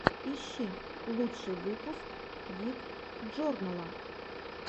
ищи лучший выпуск гик джорнала